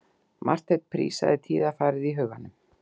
Marteinn prísaði tíðarfarið í huganum.